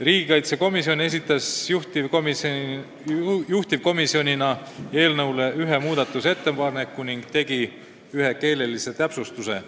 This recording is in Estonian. Riigikaitsekomisjon esitas juhtivkomisjonina ühe muudatusettepaneku ning tegi ühe keelelise täpsustuse.